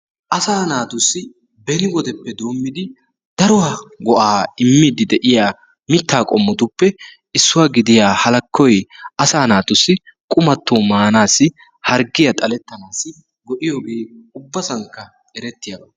Asaa naatussi beni wodeppe doommidi daro go"aa immiiddi de"iya mittaa qommotuppe issuwa gidiya Halakkoy asaa naatussi qumatto maanaassi harggiya xallanaassi go"iyogee ubbasankka erettiyaba.